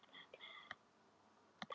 En það er líka eðlilegt.